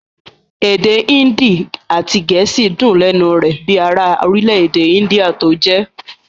Èdè índì àti gẹ̀ẹ́sì dùn lẹ́nu rẹ̀ bíi ara orílẹ-èdè índíà tó jẹ́.